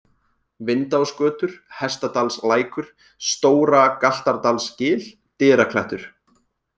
Vindásgötur, Hestadalslækur, Stóra-Galtardalsgil, Dyraklettur